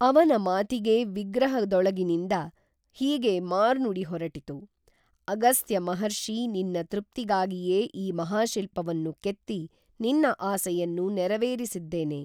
ಅವನ ಮಾತಿಗೇ ವಿಗ್ರಹದೊಳಗಿನಿಂದ ಹೀಗೇ ಮಾರ್ನುಡಿ ಹೊರಟಿತು, ಅಗಸ್ತ್ಯ ಮಹರ್ಷೀ ನಿನ್ನ ತೃಪ್ತಿಗಾಗಿಯೇ ಈ ಮಹಾಶಿಲ್ಪವನ್ನು ಕೇತ್ತಿ ನಿನ್ನ ಆಸೆಯನ್ನು ನೆರವೇರಿಸಿದ್ದೇನೆ